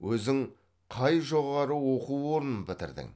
өзің қай жоғары оқу орнын бітірдің